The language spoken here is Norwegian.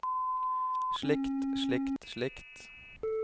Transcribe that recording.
slikt slikt slikt